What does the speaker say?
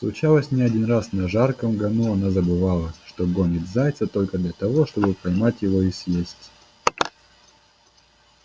случалось не один раз на жарком гону она забывала что гонит зайца только для того чтобы поймать его и съесть